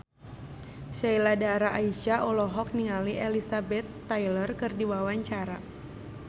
Sheila Dara Aisha olohok ningali Elizabeth Taylor keur diwawancara